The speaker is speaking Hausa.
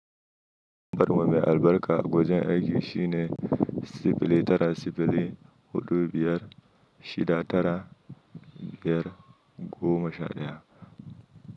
Lambar mu me albarka a wajen aiki shine sifili tara sifili hudu biyar shida tara biyar goma sha daya.